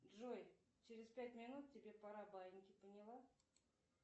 джой через пять минут тебе пора баиньки поняла